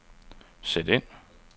sæt ind